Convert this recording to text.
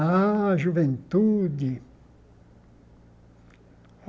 Ah, juventude.